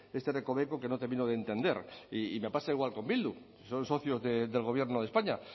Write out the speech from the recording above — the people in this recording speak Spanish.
este recoveco que no termino de entender y me pasa igual con bildu son socios del gobierno de españa